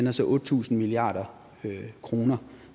er så otte tusind milliard kr